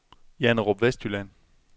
Janderup Vestjylland